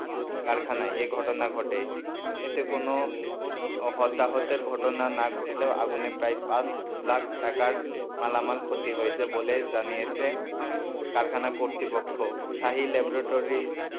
কারখানায় এ ঘটনা ঘটে এতে কোন হতাহতের ঘটনা না ঘটলেও আগুনে প্রায় পাঁচ লাখ টাকার মালামাল ক্ষতি হয়েছে বলে জানিয়েছে কারখানা কর্তৃপক্ষ শাহী ল্যাবরেটরির,